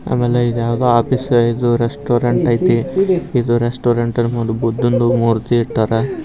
ಆಮೇಲೆ ಇದ್ಯಾವುದೋ ಆಫೀಸ್ ಇದು ರೆಸ್ಟೋರೆಂಟ್ ಐತಿ ಇದು ರೆಸ್ಟೋರೆಂಟ್ ಇರಬಹುದು ಬುದ್ಧನ ಮೂರ್ತಿ ಇಟ್ಟರಾ. .